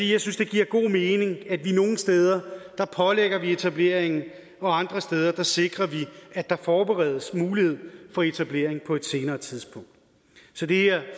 jeg synes det giver god mening at vi nogle steder pålægger etableringen og andre steder sikrer vi at der forberedes mulighed for etablering på et senere tidspunkt så det her